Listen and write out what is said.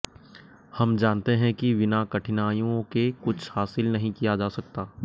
हम जानते हैं कि बिना कठिनाइयों के कुछ हासिल नहीं किया जा सकता